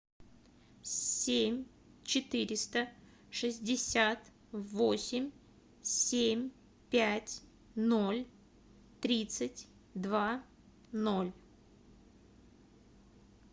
семь четыреста шестьдесят восемь семь пять ноль тридцать два ноль